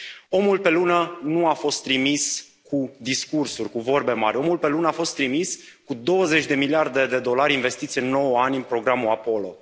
Omul pe Lună nu a fost trimis cu discursuri, cu vorbe mari, omul pe Lună a fost trimis cu 20 de miliarde de dolari investiți în nouă ani în programul Apollo.